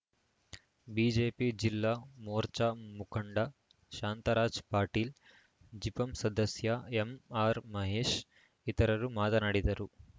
BJP ಜಿಲ್ಲಾ ಮೋರ್ಚಾ ಮುಖಂಡ ಶಾಂತರಾಜ್‌ ಪಾಟೀಲ್‌ ಜಿಪಂ ಸದಸ್ಯ ಎಂಆರ್‌ ಮಹೇಶ್‌ ಇತರರು ಮಾತನಾಡಿದರು